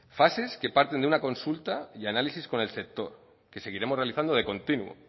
fases que parten de una consulta y análisis con el sector que seguiremos realizando de continuo